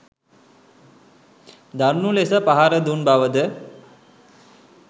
දරුණු ලෙස පහර දුන් බවද